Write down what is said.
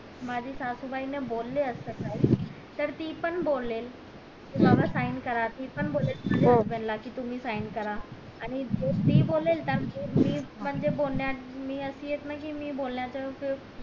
माझे सासूबाई ला बोले असते काही तर ती पण बोलेल कि बाबा sing करा ती पण बोलेल माझ्या husband ला का तुम्ही sign करा आणि ती बोलेल मी मध्ये बोलण्या मी असली कि मी बोलणार तर